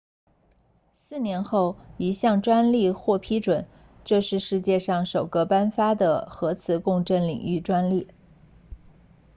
四年后一项专利获批准这是世界上首个颁发的核磁共振领域专利